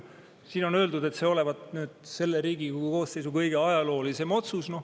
Siin on öeldud, et see olevat selle Riigikogu koosseisu kõige ajaloolisem otsus.